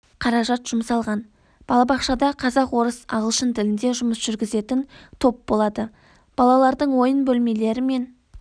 қаражат жұмсалған балабақшада қазақ орыс ағылшын тілінде жұмыс жүргізетін топ болады балалардың ойын бөлмелері мен